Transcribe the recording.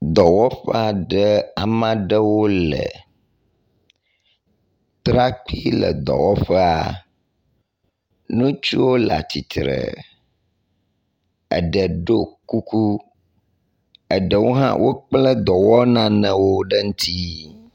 Dɔwɔƒe aɖe. ame aɖewo le. Trakpi le dɔwɔƒea. Ŋutsuwo le atsitre. Eɖe ɖo kuku. Eɖewo hã wokple dɔwɔ nanewo ɖe ŋtsi.